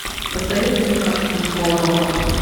посоветуй мне картину школа рока